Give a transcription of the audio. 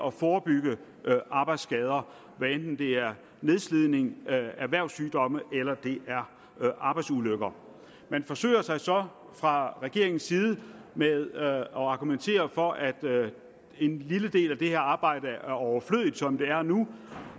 at forebygge arbejdsskader hvad enten det er nedslidning erhvervssygdomme eller det er arbejdsulykker man forsøger sig så fra regeringens side med at argumentere for at en lille del af det her arbejde er overflødigt som det er nu